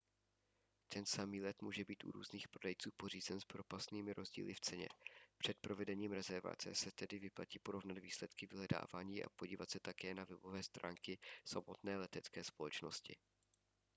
ten samý let může být u různých prodejců pořízen s propastnými rozdíly v ceně před provedením rezervace se tedy vyplatí porovnat výsledky vyhledávání a podívat se také na webové stránky samotné letecké společnosti